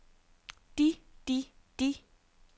de de de